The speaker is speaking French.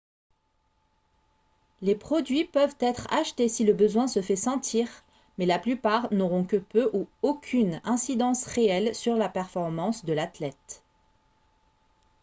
les produits peuvent être achetés si le besoin se fait sentir mais la plupart n'auront que peu ou aucune incidence réelle sur la performance de l'athlète